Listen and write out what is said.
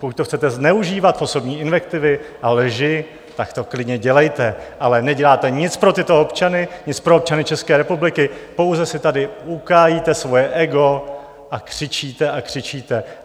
Pokud to chcete zneužívat v osobní invektivy a lži, tak to klidně dělejte, ale neděláte nic pro tyto občany, nic pro občany České republiky, pouze si tady ukájíte svoje ego a křičíte a křičíte.